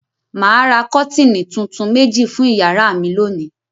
Mà á ra kọ́tíínì tuntun méjì fún ìyàrá mi lónìí.